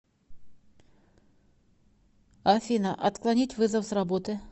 афина отклонить вызов с работы